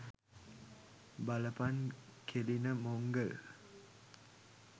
බලපන් කෙලින මොංගල්!